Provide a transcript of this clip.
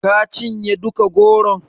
Ka cinye duka goron?